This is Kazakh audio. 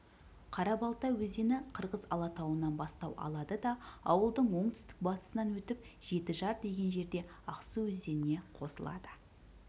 қарабалта өзені қырғыз алатауынан бастау алады да ауылдың оңтүстік батысынан өтіп жетіжар деген жерде ақсу өзеніне қосылады